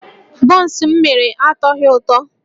Bọns m mere atọghị ụtọ